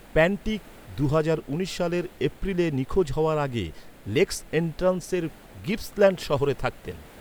Pantic দুহাজার উনিশ সালের এপ্রিলে নিখোঁজ হওয়ার আগে লেকস এন্ট্রান্সের গিপসল্যান্ড শহরে থাকতেন।